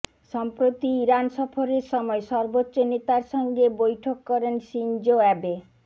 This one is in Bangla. সম্প্রতি ইরান সফরের সময় সর্বোচ্চ নেতার সঙ্গে বৈঠক করেন শিনজো অ্যাবে